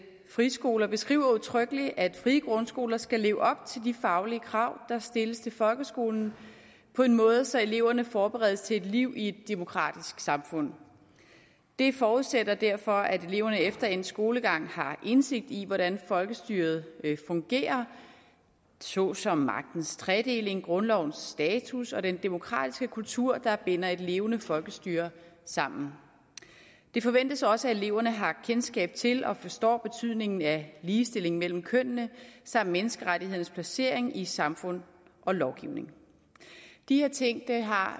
friskoler beskriver udtrykkeligt at frie grundskoler skal leve op til de faglige krav der stilles til folkeskolen på en måde så eleverne forberedes til et liv i et demokratisk samfund det forudsættes derfor at eleverne efter en skolegang har indsigt i hvordan folkestyret fungerer såsom magtens tredeling grundlovens status og den demokratiske kultur der binder et levende folkestyre sammen det forventes også at eleverne har kendskab til og forstår betydningen af ligestilling mellem kønnene samt menneskerettighedernes placering i samfund og lovgivning de her ting har